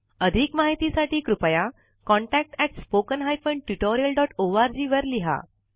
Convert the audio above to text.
अधिक माहितीसाठी कृपया contactspoken tutorialorg वर लिहा